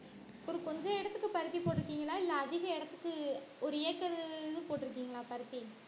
ஒரு கொஞ்ச இடத்துக்கு பருத்தி போட்டிருக்கீங்களா இல்ல அதிக இடத்துக்கு ஒரு ஏக்கரு போட்டிருக்கீங்களா பருத்தி